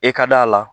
E ka d'a la